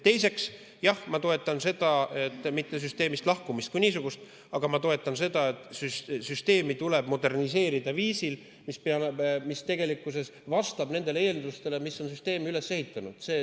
Teiseks, jah, ma ei toeta mitte süsteemist lahkumist kui niisugust, vaid ma toetan seda, et süsteemi tuleb moderniseerida viisil, mis vastab nendele eeldustele, mille järgi on süsteem üles ehitatud.